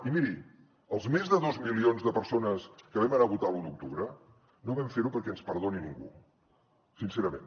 i miri els més de dos milions de persones que vam anar a votar l’u d’octubre no vam fer ho perquè ens perdoni ningú sincerament